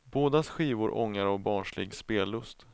Bådas skivor ångar av barnslig spellust.